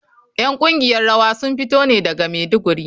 ’Yan kungiyar rawa sun fito ne daga Maiduguri.